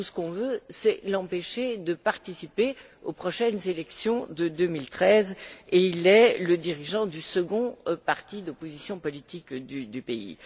Tout ce qu'on veut, c'est l'empêcher de participer aux prochaines élections de 2013, et il est le dirigeant du second parti d'opposition politique du pays.